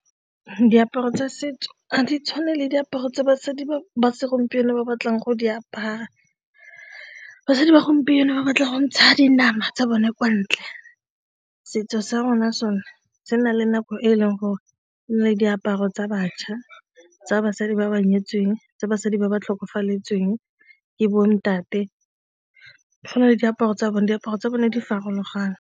Diaparo tsa setso ga di tshwane le diaparo tsa basadi ba segompieno ba ba tlang go di apara, basadi ba gompieno ba batlang go ntsha dinama tsa bone kwa ntle. Setso sa rona sone se na le nako e e leng gore e na le diaparo tsa bašwa, tsa basadi ba ba nyetseng, tsa basadi ba ba tlhokafaletsweng ke bontate, go na le diaparo tsa bone diaparo tsa bone di farologane.